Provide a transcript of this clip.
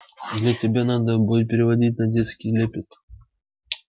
для тебя надо бы переводить на детский лепет